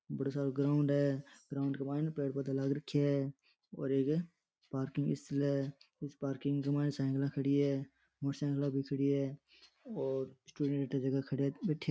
बड़ा सारा ग्राउंड है ग्राउंड के माईन पेड़ पौधा लाग रखया है और एक पार्किंग स्थल है इस पार्किंग के माईन साइकिला खड़ी है मोटरसाइकिला भी खड़ी है और --